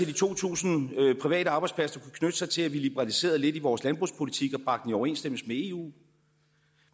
de to tusind private arbejdspladser der kunne knytte sig til at vi liberaliserede lidt i vores landbrugspolitik og bragte den i overensstemmelse med eu